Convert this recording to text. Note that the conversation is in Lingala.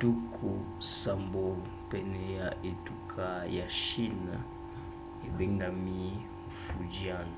tuku nsambo pene ya etuka ya chine ebengami fujian